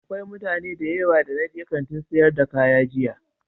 Akwai mutane da yawa da na je Kantin sayar da kaya jiya.